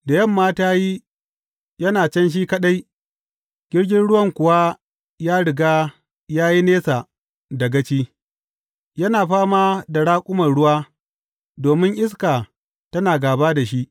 Da yamma ta yi, yana can shi kaɗai, jirgin ruwan kuwa ya riga ya yi nesa da gaci, yana fama da raƙuman ruwa domin iska tana gāba da shi.